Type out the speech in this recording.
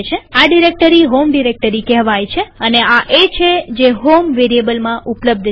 આ directory home directory કહેવાય છે અને આ એ છે જે હોમ વેરીએબલમાં ઉપલબ્ધ છે